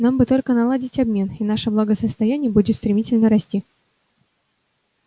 нам бы только наладить обмен и наше благосостояние будет стремительно расти